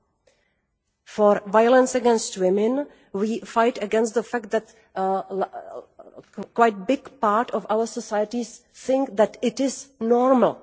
In violence against women, we fight against the fact that quite a large part of our societies think that it is normal.